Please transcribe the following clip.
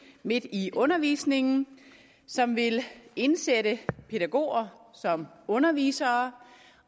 midt i undervisningen som vil indsætte pædagoger som undervisere